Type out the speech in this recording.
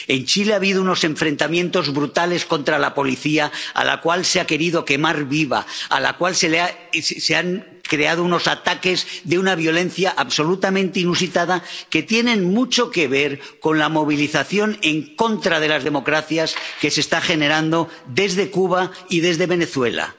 en Chile ha habido unos enfrentamientos brutales con la policía, a la cual se ha querido quemar viva, contra la cual se han creado unos ataques de una violencia absolutamente inusitada, que tienen mucho que ver con la movilización en contra de las democracias que se está generando desde Cuba y desde Venezuela.